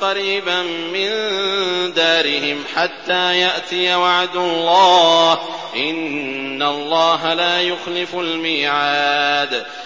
قَرِيبًا مِّن دَارِهِمْ حَتَّىٰ يَأْتِيَ وَعْدُ اللَّهِ ۚ إِنَّ اللَّهَ لَا يُخْلِفُ الْمِيعَادَ